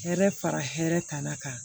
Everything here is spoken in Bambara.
Hɛrɛ fara hɛrɛ kana kan